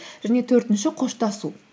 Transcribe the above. және төртінші қоштасу